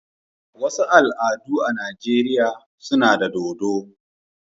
wasu al'adu a Najeriya suna da dodo.